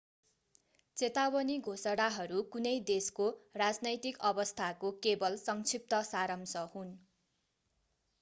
चेतावनी घोषणाहरू कुनै देशको राजनैतिक अवस्थाको केवल संक्षिप्त सारांश हुन्